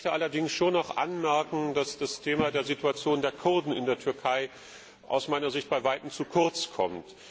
Allerdings möchte ich anmerken, dass das Thema der Situation der Kurden in der Türkei aus meiner Sicht bei weitem zu kurz kommt.